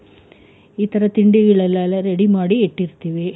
ಈ ತರ ತಿಂಡಿಗಳೆಲ್ಲ ready ಮಾಡಿ ಇಟ್ಟಿರ್ತೀವಿ.